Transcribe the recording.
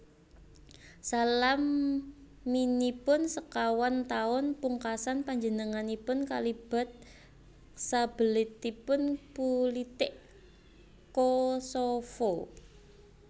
Salaminipun sekawan taun pungkasan panjenenganipun kalibat sabeletipun pulitik Kosovo